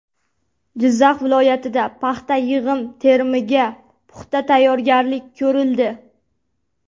Jizzax viloyatida paxta yig‘im-terimiga puxta tayyorgarlik ko‘rildi.